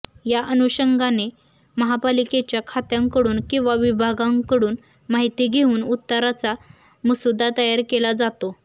या अनुषंगाने महापालिकेच्या खात्यांकडून किंवा विभांगाकडून माहिती घेऊन उत्तराचा मसुदा तयार केला जातो